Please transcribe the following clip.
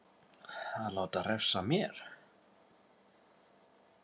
Að láta refsa mér?